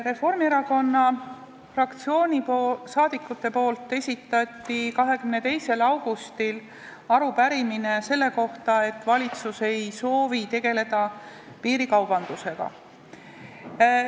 Reformierakonna fraktsiooni liikmed esitasid 22. augustil arupärimise selle kohta, miks valitsus ei soovi tegeleda piirikaubanduse probleemiga.